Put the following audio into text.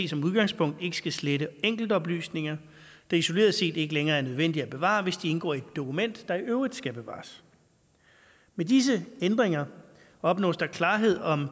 som udgangspunkt ikke skal slette enkeltoplysninger der isoleret set ikke længere er nødvendige at bevare hvis de indgår i et dokument der i øvrigt skal bevares med disse ændringer opnås der klarhed om